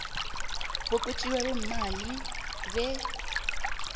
bokwetjiwa kweemali be